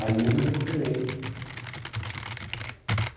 Aí eu me recuperei.